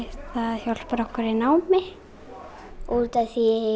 það hjálpar okkur í námi